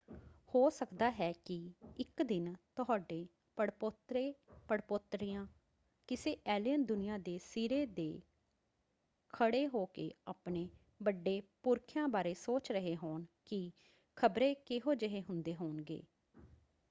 ਹੋ ਸਕਦਾ ਹੈ ਕਿ ਇੱਕ ਦਿਨ ਤੁਹਾਡੇ ਪੜਪੋਤਰੇ/ਪੜਪੋਤਰੀਆਂ ਕਿਸੇ ਏਲੀਅਨ ਦੁਨੀਆ ਦੇ ਸਿਰੇ ਦੇ ਖੜ੍ਹੇ ਹੋ ਕੇ ਆਪਣੇ ਵੱਡੇ ਪੁਰਖਿਆਂ ਬਾਰੇ ਸੋਚ ਰਹੇ ਹੋਣ ਕਿ ਖ਼ਬਰੇ ਕਿਹੋ ਜਿਹੇ ਹੁੰਦੇ ਹੋਣਗੇ?